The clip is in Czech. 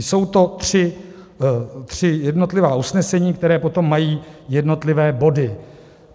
Jsou to tři jednotlivá usnesení, která potom mají jednotlivé body.